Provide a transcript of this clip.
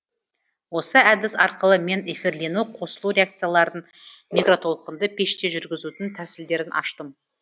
осы әдіс арқылы мен эфирлену қосылу реакцияларын микротолқынды пеште жүргізудің тәсілдерін аштым